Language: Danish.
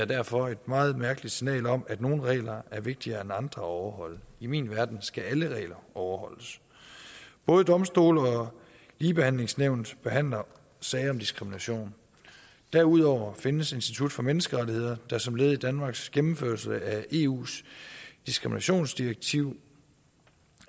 derfor et meget mærkeligt signal om at nogle regler er vigtigere end andre at overholde i min verden skal alle regler overholdes både domstole og ligebehandlingsnævnet behandler sager om diskrimination derudover findes institut for menneskerettigheder der som led i danmarks gennemførelse af eus diskriminationsdirektiv